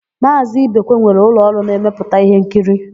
Maazị Ibekwe nwere ụlọọrụ na-emepụta íhénkiri.